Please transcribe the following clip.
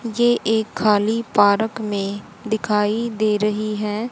ये एक खाली पारक में दिखाई दे रही है।